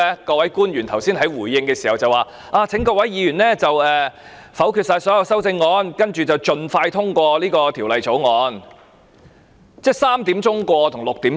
各位官員剛才在回應時請各位議員否決所有修正案，然後盡快通過條例草案。